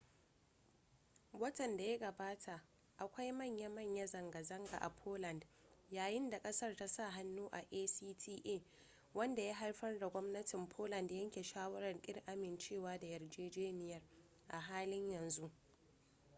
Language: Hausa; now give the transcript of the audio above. watan da ya gabata akwai manya-manya zanga-zanga a poland yayin da kasar ta sa hannu a acta wanda ya haifar da gwamnatin poland yanke shawarar kin amincewa da yarjejeniyar a halin yanzu